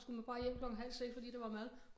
Skulle man bare hjem klokken halv 6 fordi der var mad